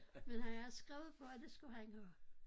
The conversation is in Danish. Men han har skrevet på at det skulle han have